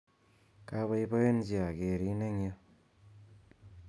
Kapoipoenchi akerin eng' yu